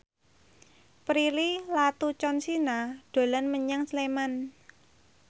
Prilly Latuconsina dolan menyang Sleman